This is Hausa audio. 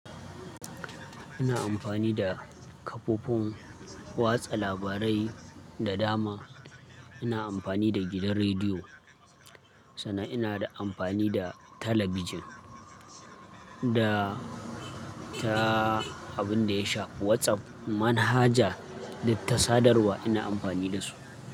Ina amfani da kafofin watsa labarai da dama. Ina amfani da gidan rediyo, sannan ina da amfani da talabijin da ta abin da ya shafi WhatsApp, manhaja da tasadar wa ina amfani da su.